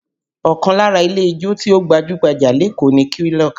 Ọkàn lára ilé ijó tí ó gbajú-gbajà lékòó ni Quilox